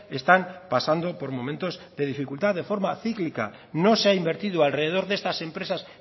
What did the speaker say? están pasando por momentos de dificultad de forma cíclica no se ha invertido alrededor de estas empresas